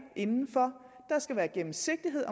inden for der skal være gennemsigtighed